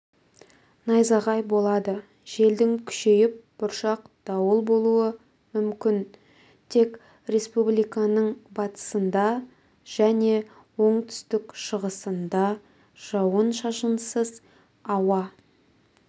найзағай болады желдің күшейіп бұршақ дауыл болуы мүмкін тек республиканың батысында және оңтүстік-шығысында жауын-шашынсыз ауа